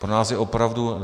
Pro nás je opravdu...